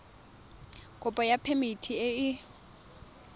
kopo ya phemiti e e